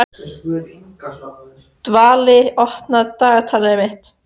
Dvalinn, opnaðu dagatalið mitt.